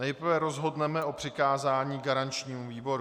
Nejprve rozhodneme o přikázání garančnímu výboru.